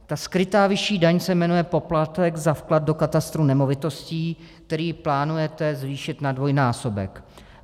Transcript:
Ta skrytá vyšší daň se jmenuje poplatek za vklad do katastru nemovitostí, který plánujete zvýšit na dvojnásobek.